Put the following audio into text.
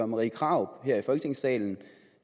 marie krarup her i folketingssalen